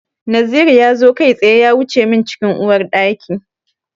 Naziru ya zo kai tsaye ya wuce min cikin Uwar ɗaki.